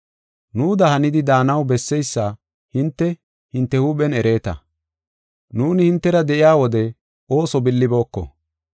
Nuuda hanidi daanaw besseysa hinte, hinte huuphen ereeta. Nuuni hintera de7iya wode ooso billibooko.